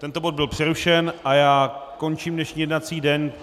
Tento bod byl přerušen a já končím dnešní jednací den.